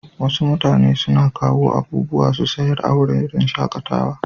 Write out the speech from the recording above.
Wasu mutane na kawo abubuwa su sayar a wuraren shakatawa.